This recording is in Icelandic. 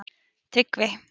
Tryggvi